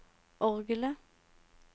orgelet